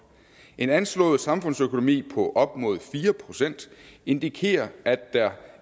en anslået samfundsøkonomi på op mod fire procent indikerer at der